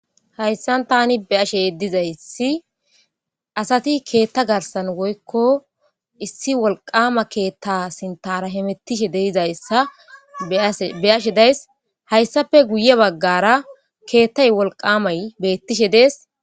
hayssan tani beyashe dizaysi asati keetta garsan woykko issi wolqama keetta sintara hemettishe dizayssa beyashe days hayssafe guye baggara keettay wolqamay beettishe dees.